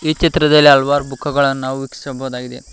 ಈ ಚಿತ್ರದಲ್ಲಿ ಹಲವಾರು ಬುಕ್ ಗಳನ್ನು ನಾವು ವೀಕ್ಷಿಸಬಹುದಾಗಿದೆ.